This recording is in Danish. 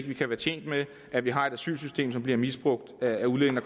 vi kan være tjent med at vi har et asylsystem som bliver misbrugt af udlændinge